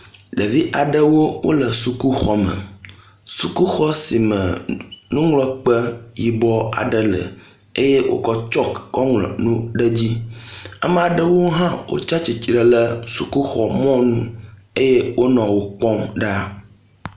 ɖevi aɖewo wóle sukuxɔme sukuxɔ sime nuŋlɔkpe yibɔ aɖe le eye wókɔ chalk kɔ ŋlɔ nu ɖe dzi amaɖewo hã wó tsatsitle ɖe sukuxɔ mɔnu eye wónɔ wókpɔm